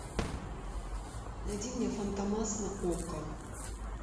найди мне фантомас на окко